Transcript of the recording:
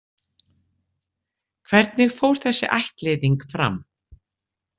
Hvernig fór þessi ættleiðing fram?